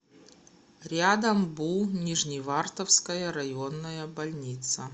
рядом бу нижневартовская районная больница